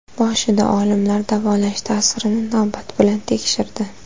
Boshida olimlar davolash ta’sirini navbat bilan tekshirdi.